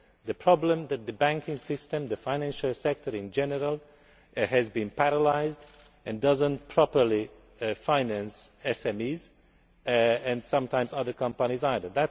The problem is that the banking system and the financial sector in general has been paralysed and does not properly finance SMEs and sometimes other companies either.